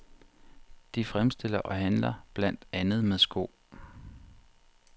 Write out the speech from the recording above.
De fremstiller og handler blandt andet med sko.